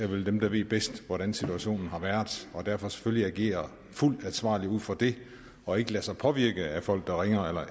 dem der ved bedst hvordan situationen har været og derfor selvfølgelig agerer fuldt ansvarligt ud fra det og ikke lader sig påvirke af folk der ringer eller